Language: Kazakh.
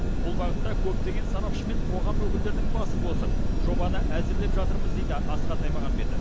бұл бағытта көптеген сарапшы мен қоғам өкілдерінің басын қосып жобаны әзірлеп жатырмыз дейді асхат аймағамбетов